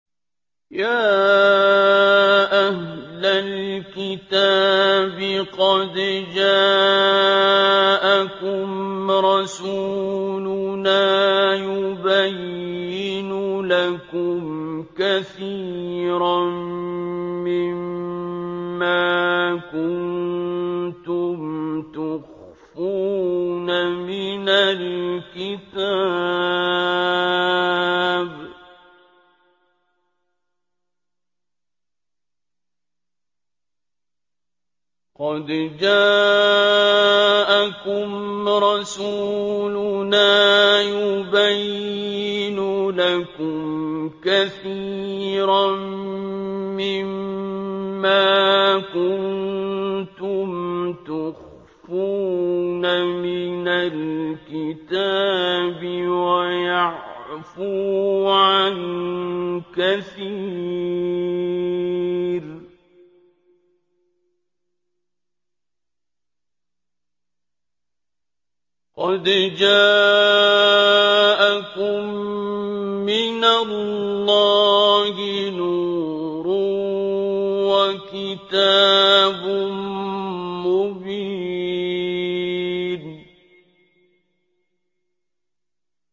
يَا أَهْلَ الْكِتَابِ قَدْ جَاءَكُمْ رَسُولُنَا يُبَيِّنُ لَكُمْ كَثِيرًا مِّمَّا كُنتُمْ تُخْفُونَ مِنَ الْكِتَابِ وَيَعْفُو عَن كَثِيرٍ ۚ قَدْ جَاءَكُم مِّنَ اللَّهِ نُورٌ وَكِتَابٌ مُّبِينٌ